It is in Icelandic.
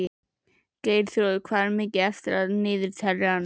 Geirþrúður, hvað er mikið eftir af niðurteljaranum?